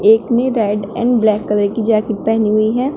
एक ने red and black colour की जैकेट पहनी हुई है।